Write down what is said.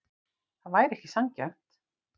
Það væri ekki sanngjarnt.